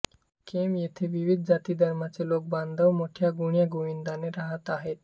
केम येथे विविध जातीधर्माचे लोकबांधव मोठ्या गुण्यागोविंदाने राहत आहेत